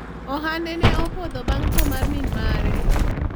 ohande ne opodho bang' tho mar min mare